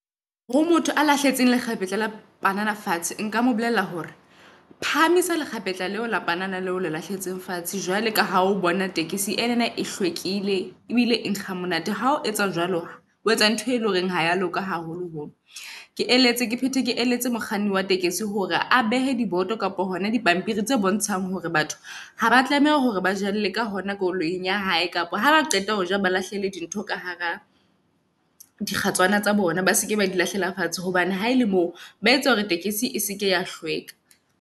Ho motho a lahletsweng lekgapetla la panana fatshe nka mo bolella hore phahamisa lekgapetla leo la panana leo le lahlehetseng fatshe. Jwale ka ha o bona tekesi enana e hlwekile ebile e nkga ha monate. Ha o etsa jwalo, o etsa ntho e leng horeng ha ya loka, haholoholo. Ke eletse ke phete ke eletse mokganni wa hore a behe diboto kapa hona dipampiri tse bontshang hore batho haba tlameha hore ba jele ka hona koloing ya hae. kapa haba qeta hoja ba lahlele di ntho ka hara di kgatswana tsa bona. Ba seke ba di lahlela fatshe hobane ha ele moo ba etsa hore tekesi e seke ya hlweka.